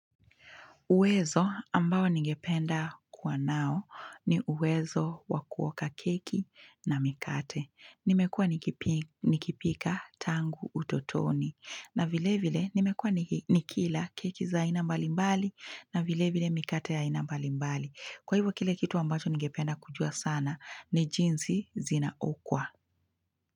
Uwezo ambao ningependa kuwa nao ni uwezo wa kuoka keki na mikate. Nimekua nikipika tangu utotoni. Na vile vile nimekua nikila keki za aina mbalimbali na vile vile mikate ya ina mbalimbali. Kwa hivu, kile kitu ambacho ningependa kujua sana ni jinsi zinaokwa.